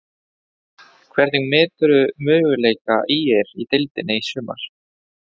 Hvernig meturðu möguleika ÍR í deildinni í sumar?